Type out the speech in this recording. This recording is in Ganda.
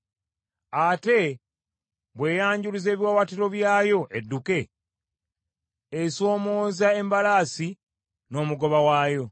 Ate bw’eyanjuluza ebiwaawaatiro byayo edduke esoomooza embalaasi n’omugoba waayo.